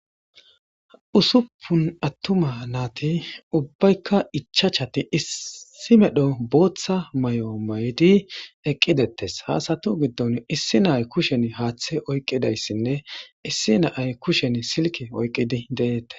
usuppun attuma naati ubbaykka ichachati issi medho booththa may7o may7di eqqidettes haasatu giddon issi naay kushen haaththe oyqqidayssinne issi naay kushen silke oyqqidi deette